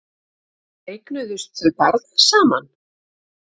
Eignuðust þau barn saman?